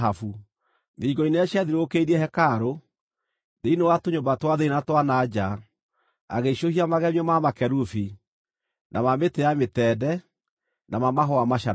Thingo-inĩ iria ciathiũrũrũkĩirie hekarũ, thĩinĩ wa tũnyũmba twa thĩinĩ na twa na nja, agĩicũhia magemio ma makerubi, na ma mĩtĩ ya mĩtende, na ma mahũa macanũku.